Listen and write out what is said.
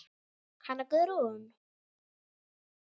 Hanna Guðrún.